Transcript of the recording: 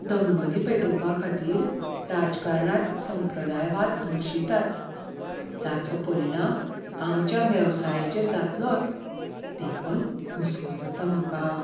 दंगली पेटोवपाखातीर राजकारणांत संप्रदायवाद भरशितात जाचो परिणाम आमच्या वेवसायाचेर जातलोच, देखून हुस्को जाता म्हाका.